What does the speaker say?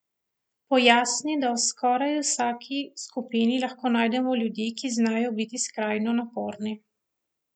Pojasni, da v skoraj vsaki skupini lahko najdemo ljudi, ki znajo biti skrajno naporni.